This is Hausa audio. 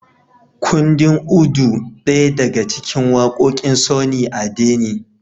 Kundin Udu daya daga cikin waƙoƙin Sunny Ade ne